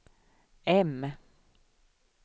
M